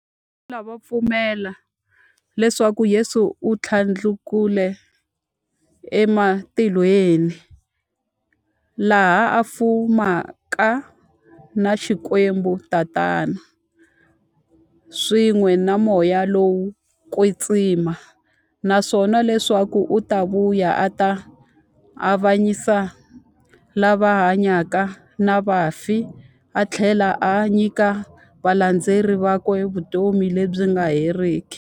Vathlela va pfumela leswaku Yesu u thlandlukele e matilweni, laha a fumaka na Xikwembu-Tatana, swin'we na Moya lowo kwetsima, naswona leswaku u ta vuya a ta avanyisa lava hanyaka na vafi athlela a nyika valandzeri vakwe vutomi lebyi nga heriki.